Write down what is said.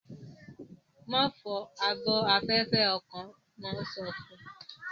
Ma fọ ààbò afẹfẹ ọkọ! wọn so fún